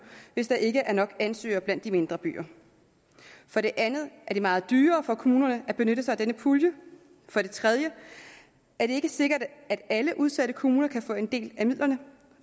hvis der ikke er nok ansøgere blandt de mindre byer for det andet er det meget dyrere for kommunerne at benytte sig af denne pulje for det tredje er det ikke sikkert at alle udsatte kommuner kan få en del af midlerne